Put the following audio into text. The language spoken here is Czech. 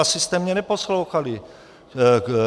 Asi jste mě neposlouchali.